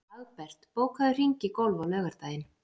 Hagbert, bókaðu hring í golf á laugardaginn.